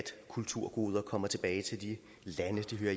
kulturgoder kommer tilbage til de lande de hører